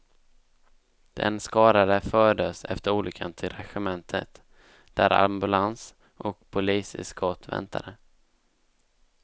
Den skadade fördes efter olyckan till regementet där ambulans och poliseskort väntade.